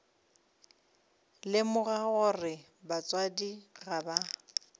lemoga gore batswadi ga ba